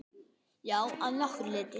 Já, að nokkru leyti.